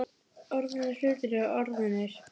Orðnir hlutir eru orðnir.